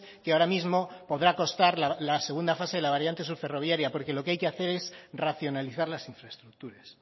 que ahora mismo podrá costar la segunda fase de la variante sur ferroviaria porque lo que hay que hacer es racionalizar las infraestructuras